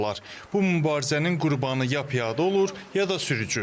Bu mübarizənin qurbanı ya piyada olur, ya da sürücü.